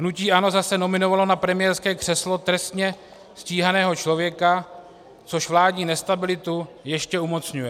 Hnutí ANO zase nominovalo na premiérské křeslo trestně stíhaného člověka, což vládní nestabilitu ještě umocňuje.